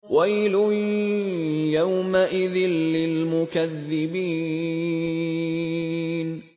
وَيْلٌ يَوْمَئِذٍ لِّلْمُكَذِّبِينَ